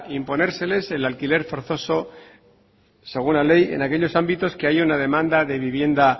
imponérseles el alquiler forzoso según la ley en aquellos ámbitos que haya una demanda de vivienda